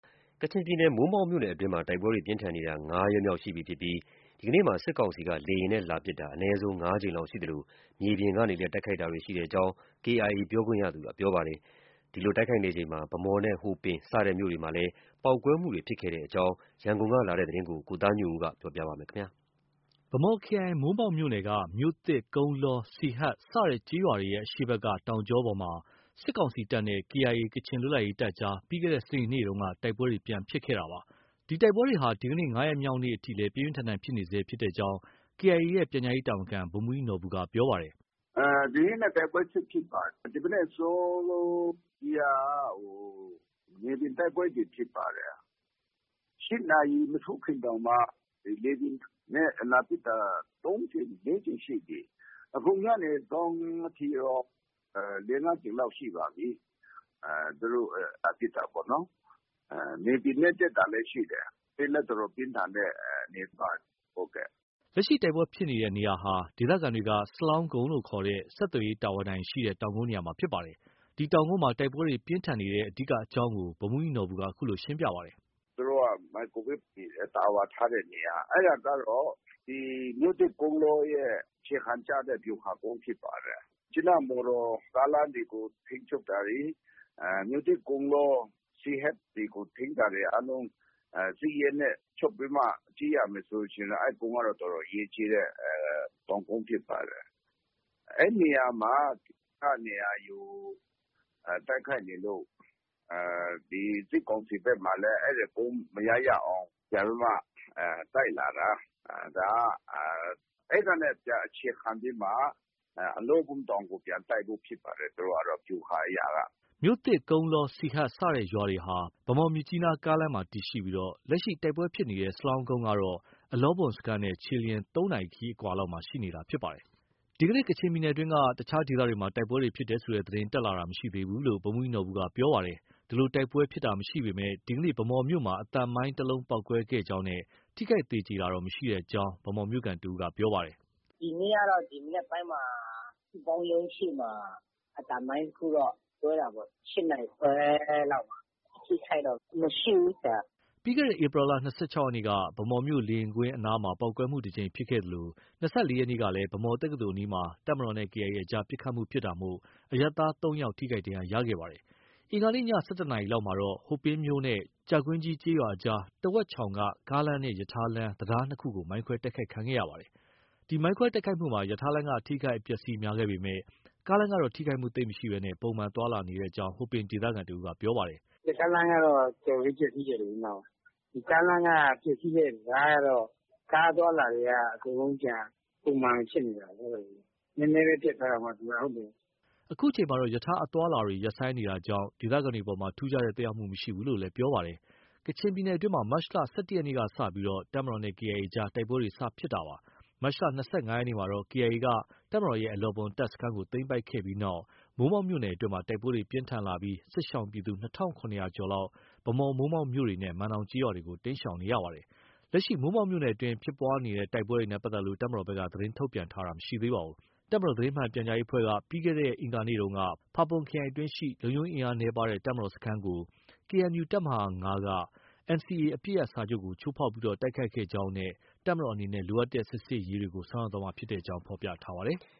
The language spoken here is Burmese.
ကချင်ပြည်နယ် မိုးမောက်မြို့နယ်အတွင်းမှာ တိုက်ပွဲတွေဟာ ၅ ရက်မြောက်နေ့အထိ တိုက်ပွဲတွေ ပြင်းထန်နေဆဲဖြစ်ပြီး ဒီကနေ့ လေယာဉ်နဲ့ လာရောက်တိုက်ခိုက်တာ အနည်းဆုံး ၅ ကြိမ်လောက်ရှိသလို မြေပြင်ကနေလည်း တိုက်ခိုက်တာတွေ ရှိကြောင်း KIA ပြောခွင့်ရသူက ပြောပါတယ်။ ဒီလိုတိုက်ခိုက်နေချိန်မှာ ဗန်းမော်နဲ့ ဟိုပင်စတဲ့မြို့တွေမှာလည်း ပေါက်ကွဲမှုတွေ ဖြစ်ပွားခဲ့တဲ့အကြောင်း ရန်ကုန်က လာတဲ့သတင်းကို ကိုသားညွန့်ဦး ပြောပြပါမယ်။ ဗန်းမော်ခရိုင် မိုးမောက်မြို့နယ်က မြို့သစ်၊ ကုန်းလော၊ စီဟတ်စတဲ့ ကျေးရွာတွေရဲ့ အရှေ့ဘက်က တောင်ကြောပေါ်မှာ စစ်ကောင်စီတပ်နဲ့ KIA ကချင်လွတ်လပ်ရေးတပ်အကြား ပြီးခဲ့တဲ့ စနေနေ့က တိုက်ပွဲပြန်လည်ဖြစ်ခဲ့တာပါ။ ဒီတိုက်ပွဲတွေဟာ ဒီကနေ့ ၅ ရက်မြောက်နေ့အထိလည်း ပြင်းပြင်းထန်ထန်ဖြစ်နေဆဲဖြစ်ကြောင်း KIA ရဲ့ ပြန်ကြားရေးတာဝန်ခံ ဗိုလ်မှူးကြီးနော်ဘူက ပြောပါတယ်။ “ဒီနေ့လည်း တိုက်ပွဲဆက်ဖြစ်ပါတယ်။ ဒီမနက် အစောကြီးက မြေပြင်တိုက်ပွဲတွေ ဖြစ်ပါတယ်။ ၈ နာရီ မထိုးခင်တောင်မှ လေယာဉ်နဲ့ လာပစ်တာ ၃ ကြိမ်၊ ၄ ကြိမ်ရှိပြီ။ အခုညနေစောင်းထိရော ၄၊ ၅ ကြိမ်လောက် ရှိပါပြီ။ သူတို့ လာပစ်တာပေါ့နော်။ မြေပြင်နဲ့ တက်တာလည်း ရှိတယ်။ ပြင်းလည်း အတော်ပြင်းထန်တဲ့ အနေအထားပါ။” လက်ရှိတိုက်ပွဲဖြစ်ပွားနေတဲ့ နေရာဟာ ဒေသခံတွေက စလောင်းကုန်းလို့ ခေါ်တဲ့ ဆက်သွယ်ရေးတာဝါတိုင်ရှိရာ တောင်ကုန်းနေရာမှာဖြစ်ပါတယ်။ ဒီတောင်ကုန်းမှာ တိုက်ပွဲတွေ ပြင်းထန်နေတဲ့ အဓိကအကြောင်းကို ဗိုလ်မှူးကြီးနော်ဘူက အခုလို ဆက်ပြောပါတယ်။ “သူတို့ မိုက်ကရိုဝေ့ဖ် တာဝါထားတဲ့နေရာ၊ အဲဒါကတော့ ဒီ မြို့သစ်၊ ကုန်းလောရဲ့ အခြေခံ ကျတဲ့ ဗျူဟာကုန်းဖြစ်ပါတယ်။ မြစ်ကြီးနား မော်တော်ကားလမ်းတွေကို ထိန်းချုပ်တာတွေ၊ မြို့သစ်၊ ကုန်းလော၊ စီဟတ်တွေကို ထိန်းတာတွေ အားလုံး စစ်ရေးနဲ့ ချုပ်ပြီးမှ ကြည့်ရမယ်ဆိုရင်တော့ အဲဒီကုန်းက တော်တော် အရေးကြီးတဲ့ တောင်ကုန်းဖြစ်ပါတယ်။ အဲဒီနေရာမှာ (KIA) က နေရာယူ တိုက်ခိုက်နေလို့ ဒီ စစ်ကောင်စီဘက်မှာလည်း အဲဒီကုန်း မရ၊ ရအောင် ပြန်ပြီးမှ တိုက်လာတာ၊ အဲဒီကနေ ပြန်အခြေခံပြီးမှ အလောဘွမ်တောင်ကို ပြန်တိုက်ဖို့ ဖြစ်ပါတယ်။ သူတို့ကတော့ ဗျူဟာအရက။” မြို့သစ်၊ ကုန်းလော၊ စီဟတ် စတဲ့ရွာတွေဟာ ဗန်းမော်- မြစ်ကြီးနားကားလမ်းမှာ တည်ရှိပြီး လက်ရှိ တိုက်ပွဲဖြစ်နေတဲ့ စလောင်းကုန်းကတော့ အလောဘွမ်စခန်းနဲ့ ခြေလျင် ၃ နာရီ ခရီးအကွာလောက်မှာ ရှိနေတာဖြစ်ပါတယ်။ ဒီကနေ့ ကချင်ပြည်နယ်အတွင်းက အခြားဒေသတွေမှာ တိုက်ပွဲဖြစ်ပွားတယ်ဆိုတဲ့ သတင်း တက်လာတာ မရှိသေးဘူးလို့ ဗိုလ်မှူးကြီးနော်ဘူက ပြောဆိုပါတယ်။ ဒီလို တိုက်ပွဲဖြစ်ပွားတာမရှိပေမဲ့ ဒီကနေ့ ဗန်းမော်မြို့မှာ အသံမိုင်း တစ်လုံးပေါက်ကွဲခဲ့ကြောင်းနဲ့ ထိခိုက်သေကြေတော့ မရှိကြောင်း ဗန်းမော်မြို့ခံတစ်ဦးက ပြောပါတယ်။ “ဒီနေ့ကတော့ မနက်ပိုင်းမှာ စုပေါင်းရုံးရှေ့မှာ အသံမိုင်းတစ်ခုတော့ ကွဲတာပေါ့။ ၈ နာရီခွဲလောက်မှာ။ အထိအခိုက်တော့ မရှိဘူး။” ပြီးခဲ့တဲ့ ဧပြီလ ၂၆ ရက်နေ့က ဗန်းမော်မြို့ လေယာဉ်ကွင်းအနားမှာ ပေါက်ကွဲမှု တစ်ကြိမ်ဖြစ်ပွားခဲ့သလို ၂၄ ရက်နေ့ကလည်း ဗန်းမော်တက္ကသိုလ်အနီးမှာ တပ်မတော်နဲ့ KIA အကြား ပစ်ခတ်မှုဖြစ်တာကြောင့် အရပ်သား ၃ ယောက် ထိခိုက်ဒဏ်ရာရခဲ့ပါတယ်။ အင်္ဂါနေ့ ည ၁၁ နာရီလောက်မှာတော့ ဟိုပင်မြို့နဲ့ ကြာကြီးကွင်း ကျေးရွာအကြားက တဝက်ချောင်က ကားလမ်းနဲ့ ရထားလမ်း တံတား ၂ ခုကို မိုင်းခွဲတိုက်ခိုက်ခံရပါတယ်။ ဒီမိုင်းခွဲတိုက်ခိုက်မှုမှာ ရထားလမ်းက အထိအခိုက် အပျက်အဆီး များခဲ့ပေမဲ့ ကားလမ်းကတော့ ထိခိုက်မှုသိပ်မရှိဘဲ ပုံမှန် သွားလာနေကြောင်းကို ဟိုပင်ဒေသခံတစ်ဦးက ပြောပါတယ်။ “ရထားလမ်းကတော့ တော်တော်လေး ပျက်ဆီးတယ်လေ။ ကားလမ်းက ပျက်ဆီးတဲ့ တံတားကတော့ ကားအသွားအလာတွေက အကုန်လုံး ပြန်ပုံမှန်ဖြစ်နေတာလေ။ နည်းနည်းပဲ ပျက်သွားတာပေါ့ သူက။” အခုချိန်မှာတော့ ရထားအသွားအလာတွေလည်း ရပ်ဆိုင်းနေတာကြောင့် ဒေသခံတွေအပေါ် ထူုးခြားတဲ့ သက်ရောက်မှု မရှိဘူးလို့လည်း ပြောပါတယ်။ ကချင်ပြည်နယ်အတွင်းမှာ မတ်လ ၁၁ ရက်နေ့က စတင်ပြီး တပ်မတော်နဲ့ KIA အကြား တိုက်ပွဲတွေ စတင်ခဲ့တာပါ။ မတ်လ ၂၅ ရက်နေ့မှာတော့ KIA က တပ်မတော်ရဲ့ အလောဘွမ်တပ်စခန်းကို သိမ်းပိုက်ခဲ့တဲ့နောက် မိုးမောက်မြို့နယ်အတွင်း တိုက်ပွဲတွေ ပြင်းထန်လာခဲ့ပြီး စစ်ရှောင်ပြည်သူ ၂,၇၀၀ ကျော်လောက်ဟာ ဗန်းမော်၊ မိုးမောက်မြို့တွေနဲ့ မန်နောင်ကျေးရွာတွေကို တိမ်းရှောင်နေကြရပါတယ်။ လက်ရှိ မိုးမောက်မြို့နယ်အတွင်း ဖြစ်ပွားတဲ့တိုက်ပွဲနဲ့ ပတ်သက်လို့ တပ်မတော်ဘက်က သတင်းထုတ်ပြန်ထားတာ မရှိပါဘူး။ တပ်မတော်သတင်းမှန်ပြန်ကြားရေးအဖွဲ့က ပြီးခဲ့တဲ့ အင်္ဂါနေ့က ဖာပွန်ခရိုင်အတွင်းရှိ လုံခြုံရေးအင်အားနည်းပါးတဲ့ တပ်မတော်စခန်းကို KNU တပ်မဟာ ၅ က NCA အပစ်ရပ်စာချုပ်ကို ချိုးဖောက် တိုက်ခိုက်ခဲ့ကြောင်းနဲ့ တပ်မတော်အနေနဲ့ လိုအပ်တဲ့ စစ်ဆင်ရေးတွေကို ဆောင်ရွက်သွားမှာဖြစ်ကြောင်း ဖော်ပြထားပါတယ်။